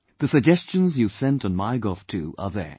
The suggestions you sent on Mygov too are there